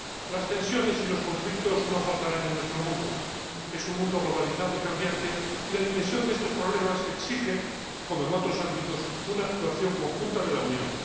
Las tensiones y los conflictos no faltarán en nuestro mundo es un mundo globalizado y cambiante, y la dimensión de estos problemas exige, como en otros ámbitos, una actuación conjunta de la Unión.